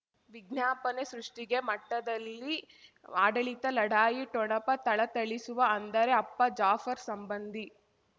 ವಿಜ್ಞಾಪನೆ ಸೃಷ್ಟಿಗೆ ಮಠದಲ್ಲಿ ಆಡಳಿತ ಲಢಾಯಿ ಠೊಣಪ ಥಳಥಳಿಸುವ ಅಂದರೆ ಅಪ್ಪ ಜಾಫರ್ ಸಂಬಂಧಿ